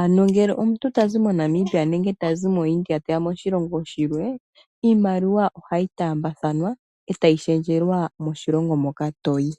Ano ngele omuntu tazi moNamibia nenge tazi moIndia teya moshilongo shilwe iimaliwa ohayi taambathana etayi shendjelwa moshilongo moka toyi.